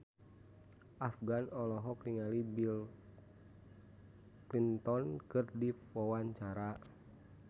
Afgan olohok ningali Bill Clinton keur diwawancara